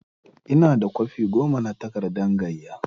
Ina da kwafi goma na takardan gaiya.